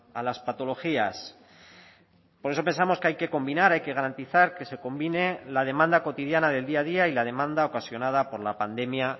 a las patologías por eso pensamos que hay que combinar hay que garantizar que se combine la demanda cotidiana del día a día y la demanda ocasionada por la pandemia